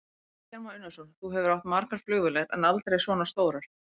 Kristján Már Unnarsson: Þú hefur átt margar flugvélar, en aldrei svona stórar?